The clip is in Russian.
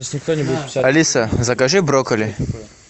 алиса закажи брокколи